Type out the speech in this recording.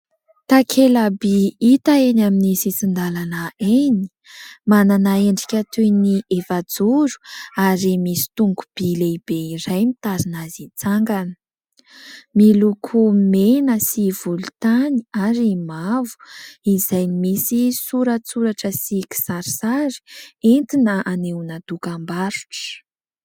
Takela-by hita eny amin'ny sisin-dalana eny : manana endrika toy ny efajoro ary misy tongo-by lehibe iray mitazona azy itsangana, miloko mena sy volontany ary mavo, izay misy soratsoratra sy kisarisary entina anehoana dokam-barotra.